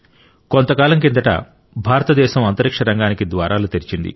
కొంతకాలం కిందట భారతదేశం అంతరిక్ష రంగానికి ద్వారాలు తెరిచింది